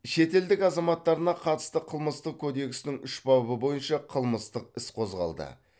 шетелдік азаматтарына қатысты қылмыстық кодексінің үш бабы бойынша қылмыстық іс қозғалды